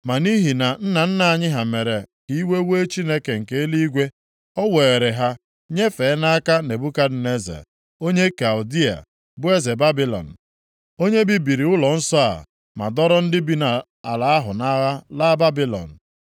Ma nʼihi na nna nna anyị ha mere ka iwe wee Chineke nke eluigwe, o weere ha nyefee nʼaka Nebukadneza, onye Kaldịa, bụ eze Babilọn, onye bibiri ụlọnsọ a ma dọrọ ndị bi nʼala ahụ nʼagha laa Babilọn.